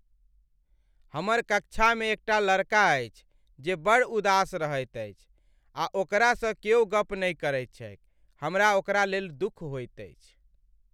हमर कक्षामे एकटा लड़का अछि जे बड़ उदास रहैत अछि आ ओकरासँ क्यौ गप नहि करैत छैक। हमरा ओकरालेल दुख होइत अछि।